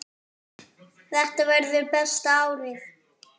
Þetta verður besta árið.